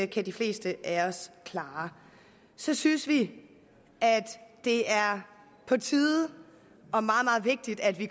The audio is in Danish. kan de fleste af os klare så synes vi at det er på tide og meget meget vigtigt at vi